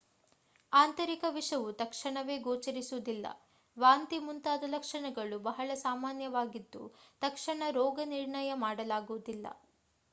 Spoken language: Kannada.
ಆಂತರಿಕ ವಿಷವು ತಕ್ಷಣವೇ ಗೋಚರಿಸುವುದಿಲ್ಲ ವಾಂತಿ ಮುಂತಾದ ಲಕ್ಷಣಗಳು ಬಹಳ ಸಾಮಾನ್ಯವಾಗಿದ್ದು ತಕ್ಷಣ ರೋಗನಿರ್ಣಯ ಮಾಡಲಾಗುವುದಿಲ್ಲ